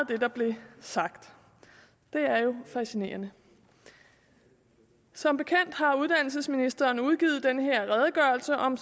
det der blev sagt det er jo fascinerende som bekendt har uddannelsesministeren udgivet den her redegørelse om